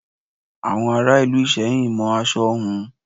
Àwọn ará Ìlú Ìsẹ́yìn mọ aṣọ hun.